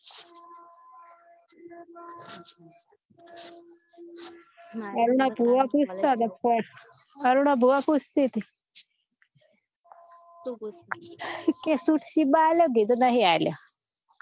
અરુણા ભુવા પૂછતા હતા કે અરુણા ભુવા પૂછ તી તી કે સુશી બા અલ્યા કીધું નહિ આલયા